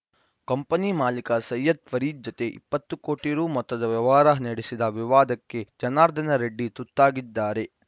company ಮಾಲೀಕ ಸಯ್ಯದ್‌ ಫರೀದ್‌ ಜತೆ ಇಪ್ಪತ್ತು ಕೋಟಿ ರು ಮೊತ್ತದ ವ್ಯವಹಾರ ನಡೆಸಿದ ವಿವಾದಕ್ಕೆ ಜನಾರ್ದನ ರೆಡ್ಡಿ ತುತ್ತಾಗಿದ್ದಾರೆ